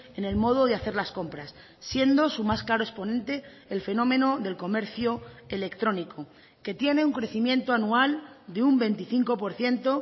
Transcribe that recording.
en el modo de hacer las compras siendo su más claro exponente el fenómeno del comercio electrónico que tiene un crecimiento anual de un veinticinco por ciento